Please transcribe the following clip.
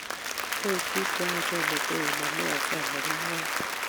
koek bik cheyach metoek mamwaksei amakimwae